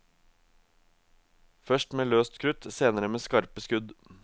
Først med løst krutt, senere med skarpe skudd.